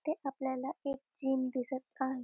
इथे आपल्याला एक जिम दिसत आहे.